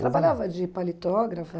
Trabalhava de paletó,